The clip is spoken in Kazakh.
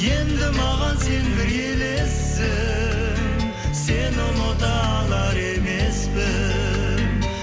енді маған сен бір елессің сені ұмыта алар емеспін